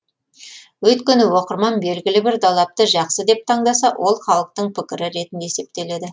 өйткені оқырман белгілі бір далапты жақсы деп таңдаса ол халықтың пікірі ретінде есептеледі